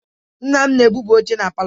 Nna m na-ebuba oche na palọ.